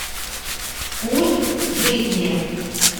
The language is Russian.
вкус жизни